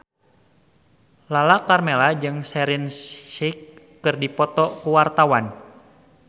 Lala Karmela jeung Shaheer Sheikh keur dipoto ku wartawan